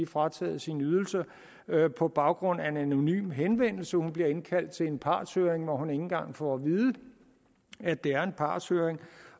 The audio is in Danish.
frataget sin ydelse på baggrund af en anonym henvendelse hun bliver indkaldt til en partshøring hvor hun ikke engang får at vide at det er en partshøring